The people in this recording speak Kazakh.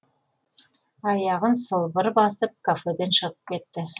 аяғын сылбыр басып кафеден шығып кетті